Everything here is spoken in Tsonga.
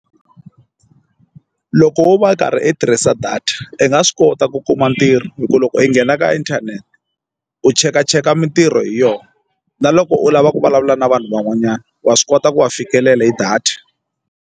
Loko wo va u karhi u tirhisa data i nga swi kota ku kuma ntirho hi ku loko i nghena ka internet u chekacheka mitirho hi yona na loko u lava ku vulavula na vanhu van'wanyana wa swi kota ku va fikelela hi data.